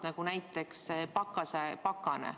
Ei olnud näiteks ka sellist pakast.